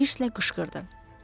Boldin hisslə qışqırdı.